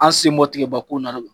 An sen bɔ tigɛba ko in na .